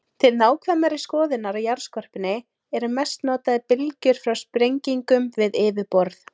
Til nákvæmari skoðunar á jarðskorpunni eru mest notaðar bylgjur frá sprengingum við yfirborð.